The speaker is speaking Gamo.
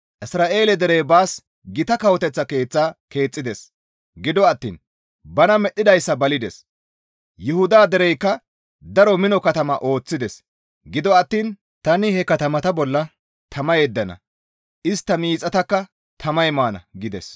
«Isra7eele derey baas gita kawoteththa keeththata keexxides; gido attiin bana medhdhidayssa balides. Yuhuda dereykka daro mino katamata ooththides; gido attiin tani he katamata bolla tama yeddana; istta miixataka tamay maana» gides.